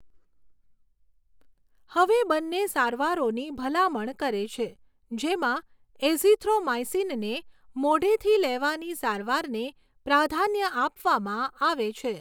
હવે બંને સારવારોની ભલામણ કરે છે, જેમાં એઝિથ્રોમાઇસીનને મોઢેથી લેવાની સારવારને પ્રાધાન્ય આપવામાં આવે છે.